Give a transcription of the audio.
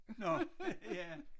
Nå ja